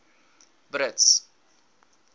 brits